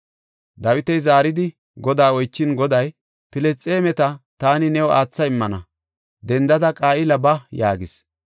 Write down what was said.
Dawiti zaaridi Godaa oychin Goday, “Filisxeemeta taani new aatha immana; dendada Qa7ila ba” yaagis.